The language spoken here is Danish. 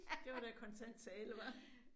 Det var da kontant tale hva